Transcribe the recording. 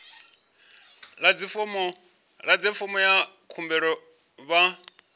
ḓadze fomo ya khumbelo vha